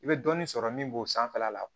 I bɛ dɔɔnin sɔrɔ min b'o sanfɛla la